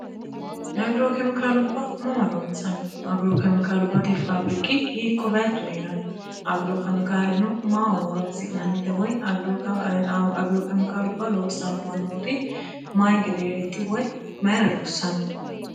agiro kemikaalubba mama loonsanni agiro kemikaalu bate faabiriki hiikko baachu hee'ranno agirokemikaaleno mao horonsi'nannite woy agiro kemikaalubba loonsanno mannooti mayi gedeereeti woy mayira loossanno